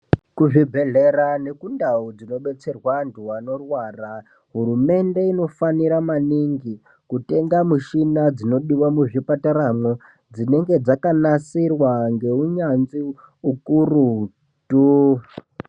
Kuzvibhedhlera nekundau dzinodetserwaa vantu vanorwara, hurumende inofanira maningi kutenga mishina dzinodiwaa muzvipataramwo, dzinenge dzakanasirwaa ngeunyanzvi ukurutuu.